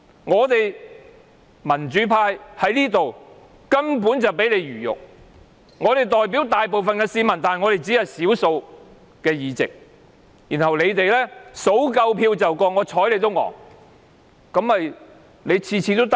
我們民主派在議會裏根本是任人魚肉，我們代表大部分市民，但我們只佔少數議席，他們數夠票便通過，次次如是。